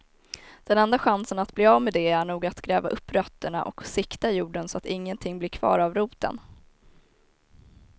Den enda chansen att bli av med det är nog att gräva upp rötterna och sikta jorden så att ingenting blir kvar av roten.